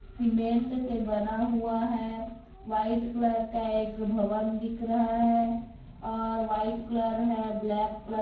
cement से बना हुआ हैं व्हाइट रंग का एक भवन दिख रहा हैं और व्हाइट कलर हैं ब्लैक कलर --